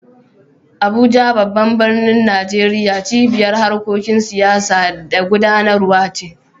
Abuja, babban birnin Najeriya, cibiyar harkokin siyasa da gudanarwa ce.